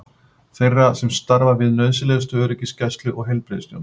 Þeirra sem starfa við nauðsynlegustu öryggisgæslu og heilbrigðisþjónustu.